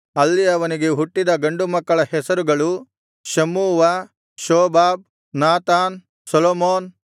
ಅಲ್ಲಿ ಅವನಿಗೆ ಹುಟ್ಟಿದ ಗಂಡು ಮಕ್ಕಳ ಹೆಸರುಗಳು ಶಮ್ಮೂವ ಶೋಬಾಬ್ ನಾತಾನ್ ಸೊಲೊಮೋನ್